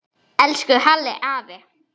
Elsku Halli afi.